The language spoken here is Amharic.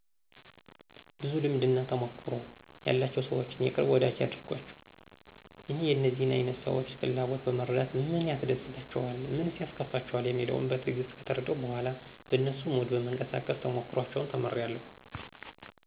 ብዙ ልምድና ተሞክሮ ያላቸውን ሰዎች የቅርብ ወዳጂ ያድርጓቸው። እኔ የእነዚህን አይነት ሰዎች ፍላጎት በመረዳት ምን ያስደስታቸዋል? ምንስ ያስከፋቸዋል? የሚለውን በትዕግስት ከተረዳሁ በኋላ በነሱ ሙድ በመንቀሳቀስ ተሞክሮአቸውን ተምሬአለሁ።